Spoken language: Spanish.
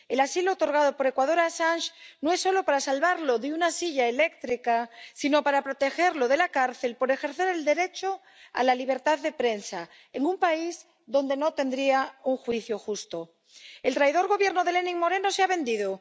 El asilo otorgado por Ecuador a Assange no es solo para salvarlo de una silla eléctrica, sino para protegerlo de la cárcel por ejercer el derecho a la libertad de prensa en un país donde no tendría un juicio justo. El traidor Gobierno de Lenin Moreno se ha vendido.